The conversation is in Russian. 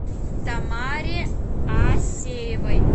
тамаре асеевой